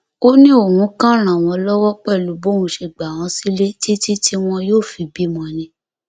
ó ní òun kàn ràn wọn lọwọ pẹlú bóun ṣe gbà wọn sílẹ títí tí wọn yóò fi bímọ ni